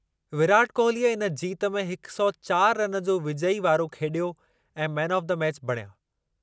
विराट कोहलीअ इन जीत में हिक सौ चारि रन जो विजयी वारो खेलियो ऐं मैन ऑफ द मैच बणिया।